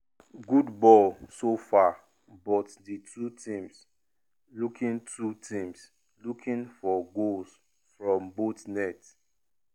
good ball so far bu=y di two teams looking two teams looking for goals from both net.